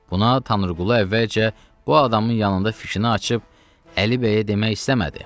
Buna Tanrıqulu əvvəlcə bu adamın yanında fikrini açıb Əli bəyə demək istəmədi.